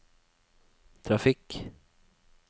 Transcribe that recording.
trafikk